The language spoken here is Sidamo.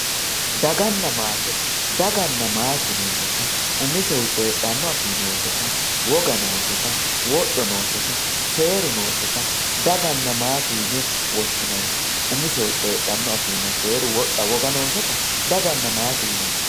Daganna matte daganna matte yinemoti umisehu coyidhano afi nose wogga noseta wodho naseta seru noseta daganna matte yine woshinanni umisehu coyidhano afinna seeru wodha wogga noseta daganna matte yinemo